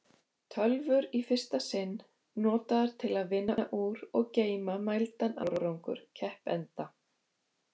Tölvur í fyrsta sinn notaðar til að vinna úr og geyma mældan árangur keppenda.